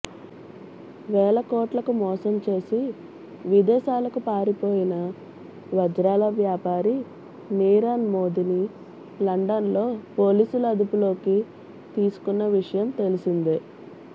వేల కోట్లకు మోసం చేసి విదేశాలకు పారిపోయిన వజ్రాల వ్యాపారి నీరవ్మోదీని లండన్లో పోలీసులు అదుపులోకి తీసుకున్న విషయం తెలిసిందే